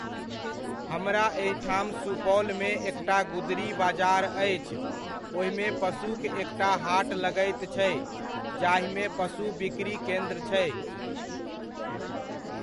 हमरा एहिठाम सुपौलमे एकटा गुदड़ी बाजार अछि, ओहिमे पशुक एकटा हाट लगैत छै, जाहिमे पशु बिक्री केन्द्र छै।